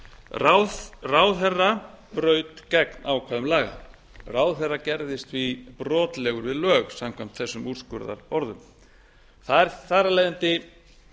forsætisráðuneytinu ráðherra braut gegn ákvæðum laga ráðherra gerðist því brotlegur við lög samkvæmt þessum úrskurðarorðum það er þar af leiðandi